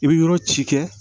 I bi yɔrɔ ci kɛ